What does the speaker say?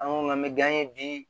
An ko an bɛ gan ye bi